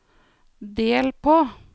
del på